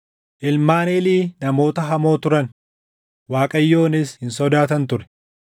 Ilmaan Eelii namoota hamoo turan; Waaqayyonis hin sodaatan ture.